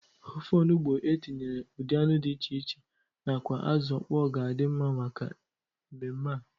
Ofe onugbu e tinyere ụdị anụ dị iche nakwa azụ ọkpọ ga-adị mma maka mmemme a.